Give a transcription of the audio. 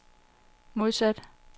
modsat